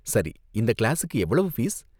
சரி, இந்த கிளாஸுக்கு எவ்வளவு ஃபீஸ்?